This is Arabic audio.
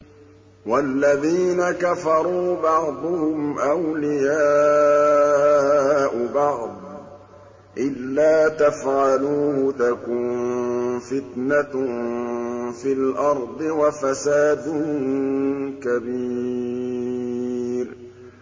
وَالَّذِينَ كَفَرُوا بَعْضُهُمْ أَوْلِيَاءُ بَعْضٍ ۚ إِلَّا تَفْعَلُوهُ تَكُن فِتْنَةٌ فِي الْأَرْضِ وَفَسَادٌ كَبِيرٌ